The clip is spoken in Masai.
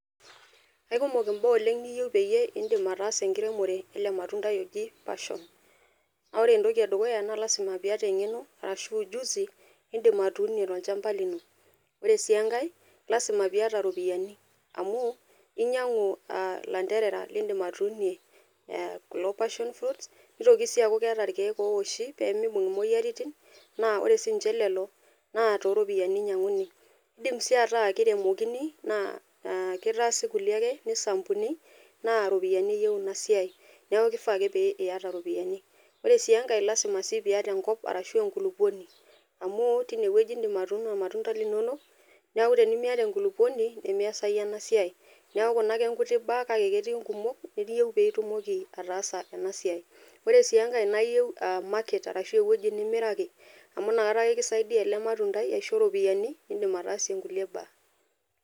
Aikumok imbaa niyieu pitumoki ataasa enkiremore ele matundai oji passion . Naa ore entoki edukuya naa lasima piata engeno arashu ujusi nindim atuunie tolchamba lino . Ore sii enkae lasima piata iropiyiani, amu inyiangu ilanterera lindim atuunie kulo passion fruit, nitoki sii aku keeta irkiek ooshi pemibung imoyiaritin naa ore sinche lelo naa toropiyiani inyianguni. Indim sii ataa kiremokini naa kitaasi kulie ake , nisampuni naa iropiyiani eyieu ina siai, niaku kifaa ake piata iropiyani. Ore sii enkae , lasima sii piata enkop arashu enkulupuoni amu tine wueji indim atuuno irmatunda linonok niaku tenimiata enkulupuoni nemiasayu ena siai. Niaku kuna ake mbaa , kake ketii inkumok niyieu pitumoki ataasa ena siai. Ore sii enkae naa iyieu market arshu ewueji nimiraki amu inakata ake kisaidia ele matundai aisho iropiyiani nindim ataasie nkulie baa.